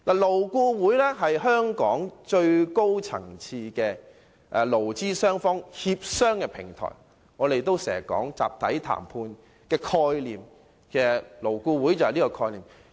勞顧會是香港最高層次的勞資雙方協商的平台，我們經常說集體談判的概念，而勞顧會正是實踐這個概念的地方。